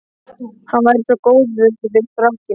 Hann væri svo góður við strákinn.